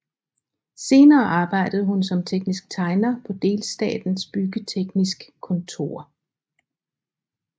Senere arbejdede hun som teknisk tegner på delstatens byggeteknisk kontor